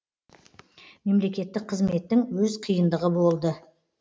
мемлекеттік қызметтің өз қиындығы болды